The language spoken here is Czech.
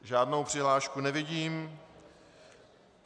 Žádnou přihlášku nevidím.